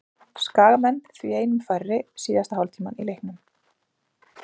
Skagamenn því einum færri síðasta hálftímann í leiknum.